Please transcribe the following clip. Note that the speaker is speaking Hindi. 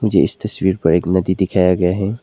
मुझे इस तस्वीर पर एक नदी दिखाया गया है।